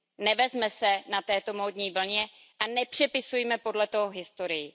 Nevezme se na této módní vlně a nepřepisujme podle toho historii.